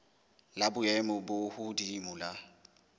la boemo bo hodimo la